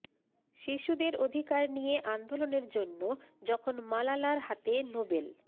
শিশুদের অধিকার নিয়ে আন্দোলনের জন্য যখন মালালার হাতে নোবেল